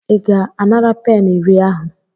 Ị ga-anara peni iri ahụ?